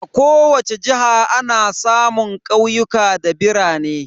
A kowace jiha ana samun ƙauyuka da birane.